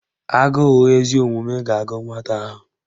Agụụ ezi omume ga-agụ nwata ahụ